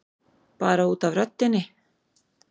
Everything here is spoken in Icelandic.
Bara út af röddinni.